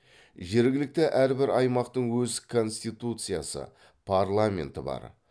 жергілікті әрбір аймақтың өз конституциясы парламенті бар